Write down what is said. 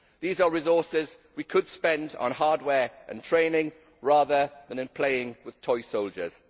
These are resources we could spend on hardware and training rather than on playing with toy soldiers.